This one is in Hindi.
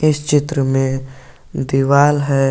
इस चित्र में दीवाल है।